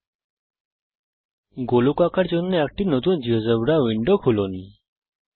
একটি গোলক আঁকার জন্যে একটি নতুন জীয়োজেব্রা উইন্ডো খুলুন